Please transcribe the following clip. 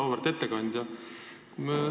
Auväärt ettekandja!